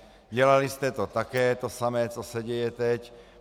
Dělali jste to také, to samé, co se děje teď.